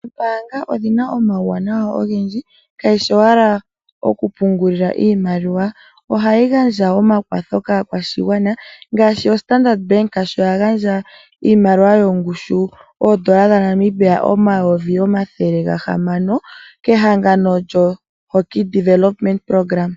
Oombaanga odhina omauwanawa ogendji kayishi owala oku pungulila iimaliwa. Ohadhi gandja omakwatho kaakwashigwana ngaashi oStandard Bank sho ya gandja iimaliwa yongushu oondola dhaNamibia omayovi omathele ga hamano kehangano lyoSBN Hockey Development Programme.